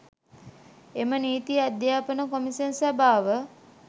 එම නීති අධ්‍යාපන කොමිෂන් සභාව